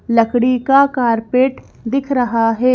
लकड़ी का कारपेट दिख रहा है।